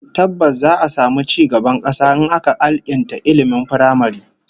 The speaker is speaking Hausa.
Tabbas, za'a samu ci gaban kasa in aka alkinta ilmin firamare